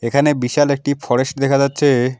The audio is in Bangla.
এখানে বিশাল একটি ফরেস্ট দেখা যাচ্ছে।